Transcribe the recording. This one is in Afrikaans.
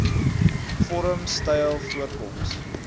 vorm styl voorkoms